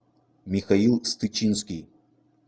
михаил стычинский